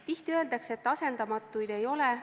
Tihti öeldakse, et asendamatuid ei ole.